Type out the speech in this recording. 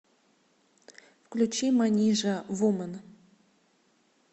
включи манижа вумэн